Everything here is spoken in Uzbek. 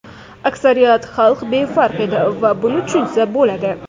Aksariyat xalq befarq edi va buni tushunsa bo‘ladi.